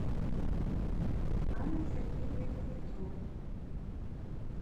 анной сергеевной кузнецовой